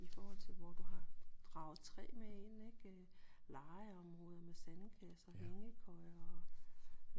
I forhold til hvor du har draget et træ med ind ik øh legeområder med sandkasser hængekøjer